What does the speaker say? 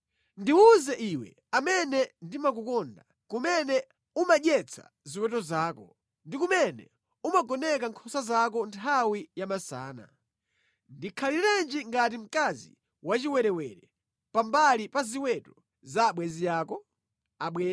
Ndiwuze iwe, amene ndimakukonda, kumene umadyetsa ziweto zako ndi kumene umagoneka nkhosa zako nthawi yamasana. Ndikhalirenji ngati mkazi wachiwerewere pambali pa ziweto za abwenzi ako?